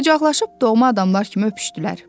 Qucaqlaşıb doğma adamlar kimi öpüşdülər.